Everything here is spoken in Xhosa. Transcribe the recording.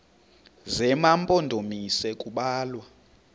zema mpondomise kubalwa